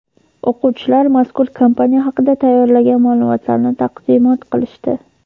o‘quvchilar mazkur kompaniya haqida tayyorlagan ma’lumotlarini taqdimot qilishdi.